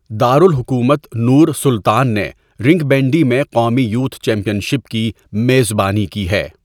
دارالحکومت Nur Sultan نے rink bandy میں قومی یوتھ چیمپئن شپ کی میزبانی کی ہے۔